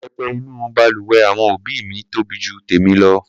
Pẹpẹ inú balùwẹ̀ àwọn òbí mi tóbi ju tèmi lọ.